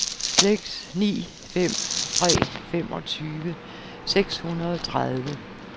seks ni fem tre femogtyve seks hundrede og tredive